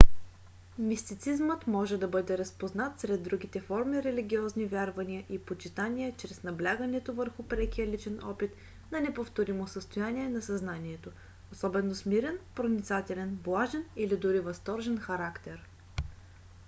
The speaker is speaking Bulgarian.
мистицизмът може да бъде разпознат сред другите форми религиозни вярвания и почитания чрез наблягането върху прекия личен опит на неповторимо състояние на съзнанието особено с мирен проницателен блажен или дори възторжен характер